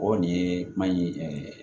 O nin ye mali